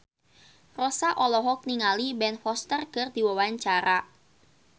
Rossa olohok ningali Ben Foster keur diwawancara